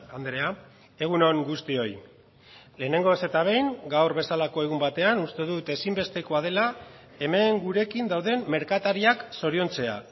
andrea egun on guztioi lehenengoz eta behin gaur bezalako egun batean uste dut ezinbestekoa dela hemen gurekin dauden merkatariak zoriontzea